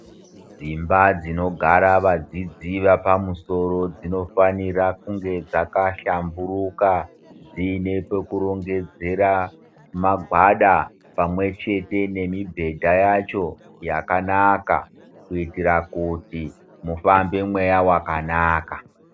Dzimba dzinogara vadzidzi vapamusoro dzinofanira kunge dzakahlamburuka, dziine pekurongedzera magwada ,pamwe chete nemibhedha yacho ,yakanaka kuitira kuti mufambe mweya wakanaka.